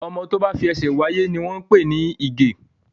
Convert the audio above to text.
Ọmọ tó bá fi ẹsẹ̀ wá sí ayé ni wọ́n pè ní ìgè